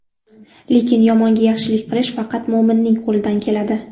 Lekin yomonga yaxshilik qilish faqat mo‘minning qo‘lidan keladi.